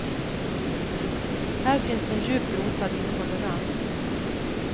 Här finns en djupt rotad intolerans.